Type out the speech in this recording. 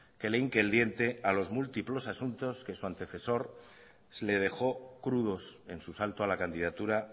que le hinque el diente a los múltiplos asuntos que su antecesor le dejó crudos en su salto a la candidatura